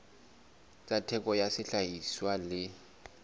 tsa theko ya sehlahiswa le